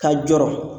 Ka jɔrɔ